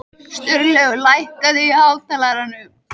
Sturlaugur, lækkaðu í hátalaranum.